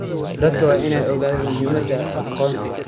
Dadku waa inay ogaadaan muhiimada aqoonsiga.